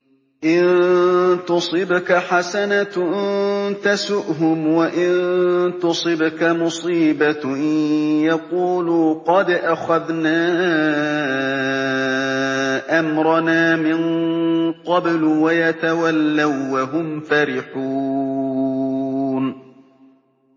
إِن تُصِبْكَ حَسَنَةٌ تَسُؤْهُمْ ۖ وَإِن تُصِبْكَ مُصِيبَةٌ يَقُولُوا قَدْ أَخَذْنَا أَمْرَنَا مِن قَبْلُ وَيَتَوَلَّوا وَّهُمْ فَرِحُونَ